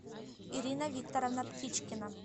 ирина викторовна птичкина